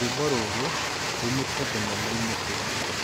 rwĩmbo rũrũ ruumĩte thenemaini iriku